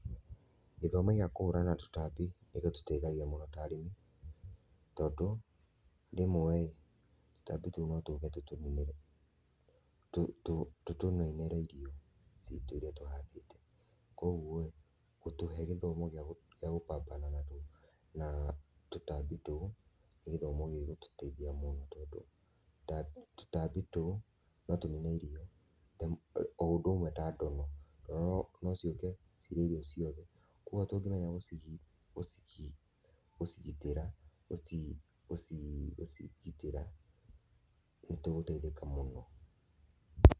Gĩthomo gĩa kũhũrana na tũtambi nĩgĩtũteithagia mũno ta arĩmi, tondũ rĩmwe tũtambi tũu no tũke tũtũninĩre, tũtũninĩre irio cĩtũ irĩa tũhandĩte, kogũo ĩ gũtũhe gĩthomo gĩa gũ pambana natwo, na tũtambĩ tũu nĩ gĩthomo gĩgũtũteithia mũno, tondu tũtambi tũu no tũnine irio o ũndũ ũmwe ta ndono, ndono no cioke cirĩe irio ciothe kwa ũgũo tũngĩmenya gũcigitĩra, gũcigitĩra nĩtũgũteithĩka mũno.